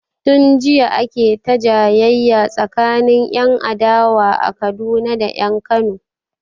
Tun jiya ake ta jayayya tsakanin 'yan adawa a Kaduna da 'yan Kano.